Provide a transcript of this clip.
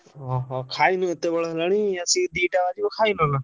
ଓଃ ଖାଇନୁ ଏତେ ବେଳ ହେଲାଣି ଆସିକି ଦି ଟା ବାଜିବ ଖାଇନ ନା?